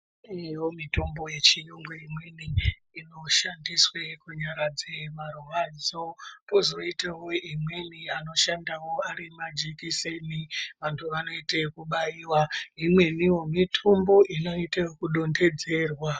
Kunevo mitombo yechiyungu imweni inoshandiswe kunyaradza marwadzo. Kozoitavo imweni anoshandavo ari majekiseni vantu vanoite ekubaiva. Imwenivo mitombo inoite vekudonhedzerwa.